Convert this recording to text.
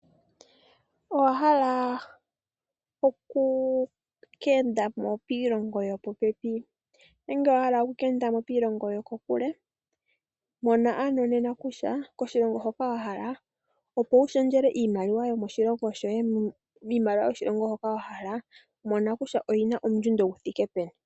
Owa hala oku keendamo piilongo yopopepi nenge owahala kuya kiilono yoko kule shi tseya ano nena kutya kiilongo hoka wa hala okuya opo wushendjele iimaliwa miimaliwa hoka wahala okuya mona kutya oyina ondjundo yi thike peni.